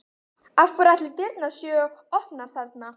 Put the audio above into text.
Af hverju ætli dyrnar séu opnar þarna?